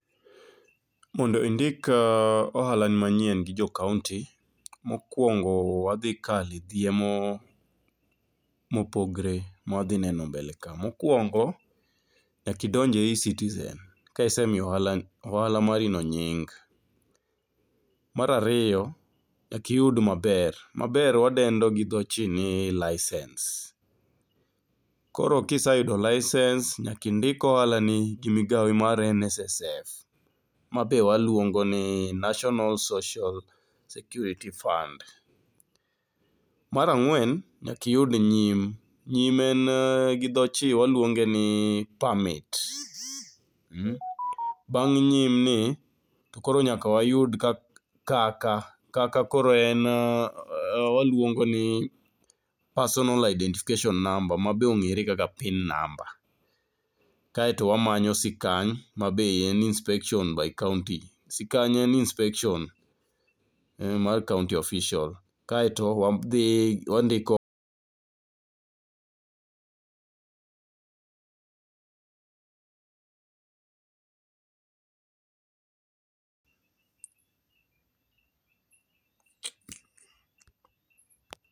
Mondo indik ohalani manyien gi jo kaonti, mokuongo wadhi kalo e dhiemo mopogore ma wadhi neno e mbele ka. Mokuongo nyakam idonj e eCitizen ka isemiyo ohala marino nying. Mar ariyo, nyaka iyud maber, maber wadendo gi dho chin ni licence. Koro kiseyudo lisens nyaka indik ohalani gi migao mar NSSF ma be waluongo ni National Social Security Fund. Mar ang'wen nyaka iyud nyim, nyim en gi dho chin waluonge ni permit. Bang' nyim ni koro nyaka wayud kaka kaka koro en waluongo ni personal identification number ma be ong'ere kaka pin namba. Kaeto wamanyo sikany ma be en inspection by county. Sikany en inspection mar kaonti oficial kae to wadhi wandiko.